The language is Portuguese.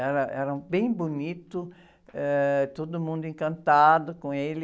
Era, era bem bonito, eh, todo mundo encantado com ele.